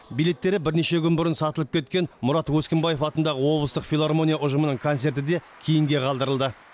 билеттері бірнеше күн бұрын сатылып кеткен мұрат өскінбаев атындағы облыстық филармония ұжымының концерті де кейінге қалдырылды